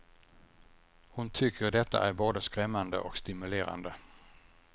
Hon tycker detta är både skrämmande och stimulerande.